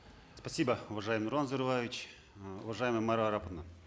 спасибо уважаемый нурлан зайроллаевич ы уважаемая майра араповна